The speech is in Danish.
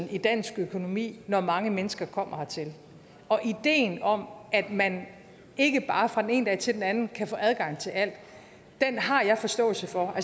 i dansk økonomi når mange mennesker kommer hertil ideen om at man ikke bare fra den ene dag til den anden kan få adgang til alt har jeg forståelse for